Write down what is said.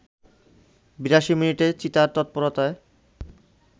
৮২ মিনিটে চিতার তৎপরতায়